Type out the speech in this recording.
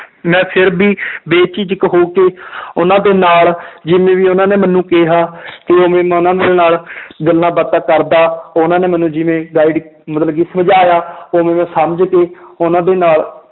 ਮੈਂ ਫਿਰ ਵੀ ਬੇਝਿਜਕ ਹੋ ਕੇ ਉਹਨਾਂ ਦੇ ਨਾਲ ਜਿਵੇਂ ਵੀ ਉਹਨਾਂ ਨੇ ਮੈਨੂੰ ਕਿਹਾ ਕਿ ਉਹਨਾਂ ਦੇ ਨਾਲ ਗੱਲਾਂ ਬਾਤਾਂ ਕਰਦਾ ਉਹਨਾਂ ਨੇ ਮੈਨੂੰ ਜਿਵੇਂ guide ਮਤਲਬ ਕਿ ਸਮਝਾਇਆ ਉਵੇਂ ਮੈਂ ਸਮਝ ਕੇ ਉਹਨਾਂ ਦੇ ਨਾਲ